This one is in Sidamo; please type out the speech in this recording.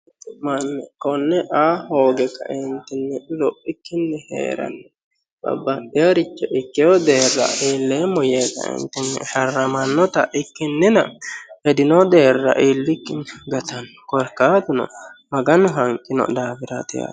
konne aa hooge kaintinni lophikkinni hee'ranni babbaxxinoricho ikkeho deerra iilleemmo yee kaeentinni sharramannota ikkinnina hedino deerra iillikkinni gatanno korkaatuno maganu hanqino daafiraati yaate